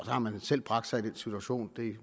har man selv bragt sig i den situation